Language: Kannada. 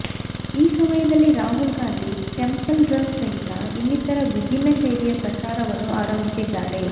ಈ ಸಮಯದಲ್ಲಿ ರಾಹುಲ್ ಗಾಂಧಿ ಟೆಂಪಲ್ ರನ್ ಸಹಿತ ಇನ್ನಿತರ ವಿಭಿನ್ನ ಶೈಲಿಯ ಪ್ರಚಾರವನ್ನು ಆರಂಭಿಸಿದ್ದಾರೆ